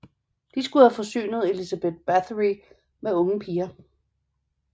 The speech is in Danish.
De skulle have forsynet Elizabeth Báthory med unge piger